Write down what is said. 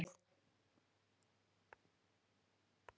Magnús Hlynur Hreiðarsson: Og hvernig datt ykkur í hug að fara þessa leið?